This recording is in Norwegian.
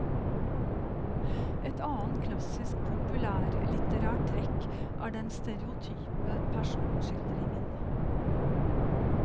Et annet klassisk populærlitterært trekk er den stereotype personskildringen.